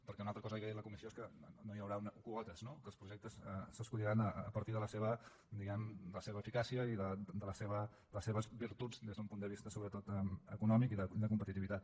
perquè una altra cosa que ja ha dit la comissió és que no hi haurà quotes no que els projectes s’escolliran a partir de la seva diguem ne eficàcia i de les seves virtuts des d’un punt de vista sobretot econòmic i de competitivitat